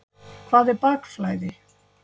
Hvað er bakflæði?